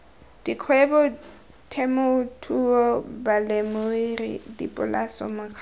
dikgwebo temothuo balemirui dipolase mekgatlho